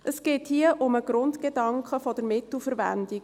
Es geht hier um den Grundgedanken der Mittelverwendung.